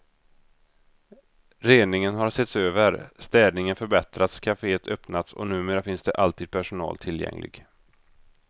Reningen har setts över, städningen förbättrats, kaféet öppnats och numera finns det alltid personal tillgänglig.